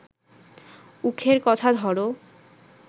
উখের কথা ধর